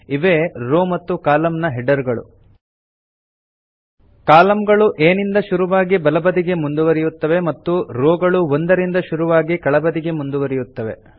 ಇವೆ ರೋ ಮತ್ತು ಕಾಲಂ ನ ಹೆಡರ್ ಗಳು ಕಾಲಂಗಳು A ನಿಂದ ಶುರುವಾಗಿ ಬಲಬದಿಗೆ ಮುಂದುವರಿಯುತ್ತವೆ ಮತ್ತು ರೋ ಗಳು 1 ರಿಂದ ಶುರುವಾಗಿ ಕೆಳಬದಿಗೆ ಮುಂದುವರಿಯುತ್ತವೆ